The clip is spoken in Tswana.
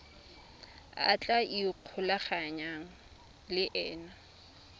a tla ikgolaganyang le ena